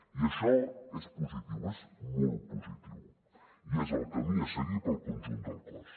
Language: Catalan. i això és positiu és molt positiu i és el camí a seguir pel conjunt del cos